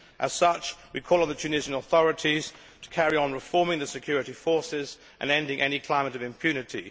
As such, we call on the Tunisian authorities to carry on reforming the security forces and ending any climate of impunity.